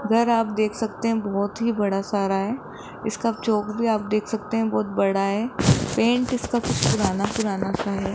अगर आप देख सकते हैं बहुत ही बड़ा सारा हैं इसका चौक भी आप देख सकते हैं बहुत बड़ा हैं पेंट इसका कुछ पुराना सुराना सा हैं।